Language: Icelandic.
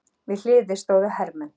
Við hliðið stóðu hermenn.